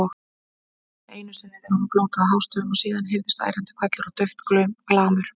Nema einu sinni þegar hún blótaði hástöfum og síðan heyrðist ærandi hvellur og dauft glamur.